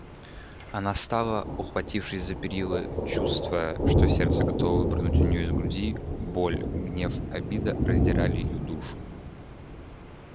она стала ухватившись за перила чувствуя что сердце готово выпрыгнуть у неё из груди боль гнев обида раздирали её душу